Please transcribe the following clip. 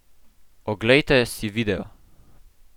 Oglejte si video!